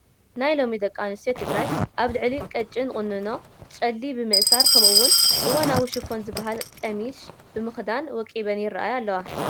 ናይ ሎሚ ደቂ ኣንስትዮ ትግራይ ኣብ ልዕሊ ቀጭን ቁኖአን ጨሊ ብምእሳር ከምኡውን እዋናዊ ሽፎን ዝበሃል ቀሚሽ ብምኽዳን ወቂበን ይረአያ አለዋ፡፡